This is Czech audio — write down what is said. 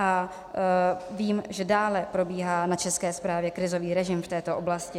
A vím, že dále probíhá na České správě krizový režim v této oblasti.